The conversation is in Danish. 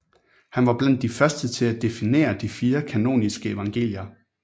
Han var blandt de første til at definere de fire kanoniske evangelier